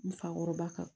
N fakɔrɔba kan